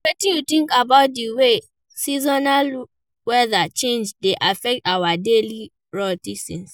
Wetin you think about di way seasonal wheather changes dey affect our daily routines?